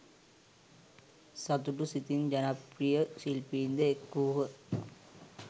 සතුටු සිතින් ජනප්‍රිය ශිල්පීන් ද එක්වූහ.